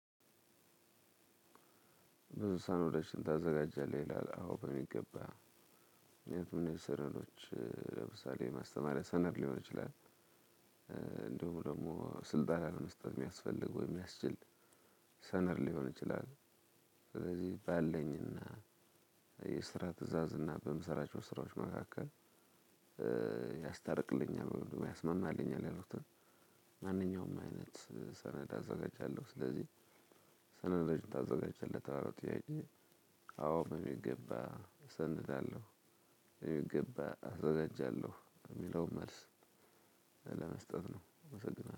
ብዙ ሰነዶችን ታዘጋጃለህ ይላል አወ በሚገባ ምክንያቱም ሰነዶች ለምሳሌ ማስተማሪያ ሰነድ ሊሆን ይችላል እንደውም ደግሞ ስልጣን መስጠት የሚያስፈልገው ወይ የሚያስችል ሰነድ ሊሆን ይችላል ስለዚህ ባለኝና የስራ ትእዛዝ እና በምሰራቸው ስራዎች መካከል ያስታርቅልኛል ወይም ደግሞ ያስማማልኛል ያልኩትን ማንኛውም አይነት ሰነድ አዘጋጃለሁ። ስለዚህ ሰነድ ታዘጋጃለህ? ለተባለው ጥያቄ አዎ የሚገባ እሰንዳለሁ። የሚገባ አዘጋጃለሁ። የሚለውን መልስ ለመስጠት ነው።